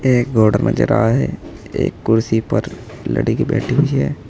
एक नजर आ है एक कुर्सी पर लड़की बैठी हुई है।